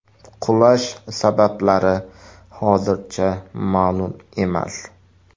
Qulash sabablari hozircha ma’lum emas.